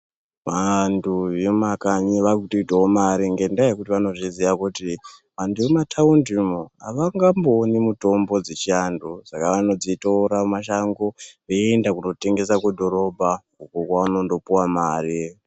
Vantu vemumakanyi vaakutoitawo mare ngendaa yekuti vanozviziya kuti antu emumataundi umu havangambooni mutombo dzechiantu. Saka vanondodzitora mumashango eienda kootengesa kudhorobha uko vanondopuwa mare.